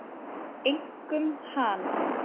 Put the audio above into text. Einkum hana.